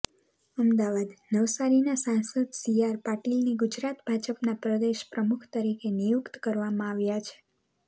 અમદાવાદઃ નવસારીના સાંસદ સીઆર પાટીલની ગુજરાત ભાજપના પ્રદેશ પ્રમુખ તરીકે નિયુક્ત કરવામાં આવ્યા છે